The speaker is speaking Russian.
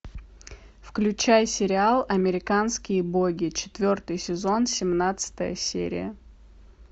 включай сериал американские боги четвертый сезон семнадцатая серия